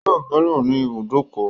Yóò bọ́lẹ̀ ní ibùbókọ̀